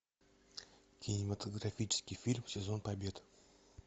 кинематографический фильм сезон побед